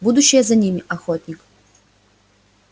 будущее за ними охотник